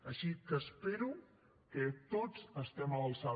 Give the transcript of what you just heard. així que espero que tots estiguem a l’alçada